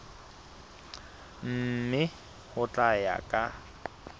mme ho tla ya ka